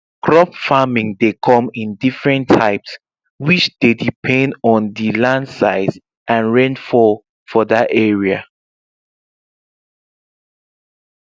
crop farming dey come in diffrent types which dey depend on the land size and rainfall for that area